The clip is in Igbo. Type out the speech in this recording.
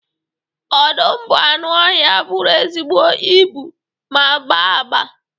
Ọdụm bụ anụ ọhịa bụrụ ezigbo ibu ma gbaa agba